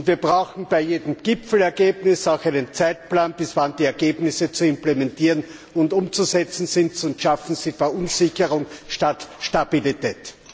Wir brauchen bei jedem Gipfelergebnis auch einen Zeitplan, bis wann die Ergebnisse zu implementieren und umzusetzen sind, sonst schaffen sie Verunsicherung statt Stabilität.